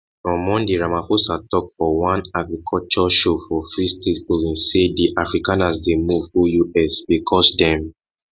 on monday ramaphosa tok for one agriculture show for free state province say di afrikaners dey move go us because dem